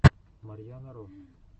марьяна ро